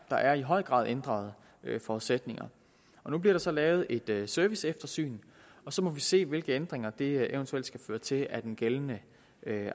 der er i høj grad ændrede forudsætninger nu bliver der så lavet et serviceeftersyn og så må vi se hvilke ændringer det eventuelt skal føre til af den gældende